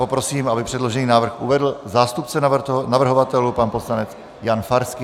Poprosím, aby předložený návrh uvedl zástupce navrhovatelů pan poslanec Jan Farský.